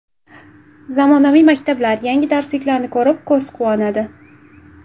Zamonaviy maktablar, yangi darsliklarni ko‘rib, ko‘z quvonadi.